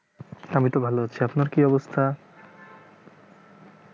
আমি তো ভালো আছি আপনার কি অবস্থা